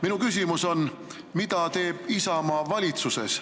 Minu küsimus on, mida teeb Isamaa valitsuses.